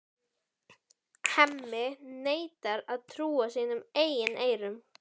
Hemmi neitar að trúa sínum eigin eyrum.